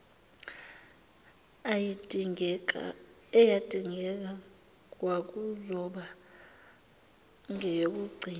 eyayidingeka kwakuzoba ngeyokugcina